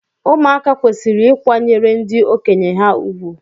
Ụmụaka kwesịrị ịkwanyere ndị okenye ha ùgwù.